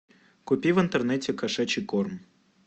купи в интернете кошачий корм